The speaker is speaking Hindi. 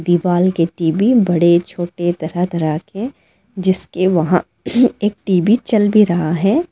दीवाल के टी_वी बड़े छोटे तरह तरह के जीसके वहां एक टी_वी चल भी रहा है।